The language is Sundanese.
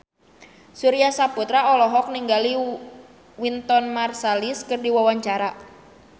Surya Saputra olohok ningali Wynton Marsalis keur diwawancara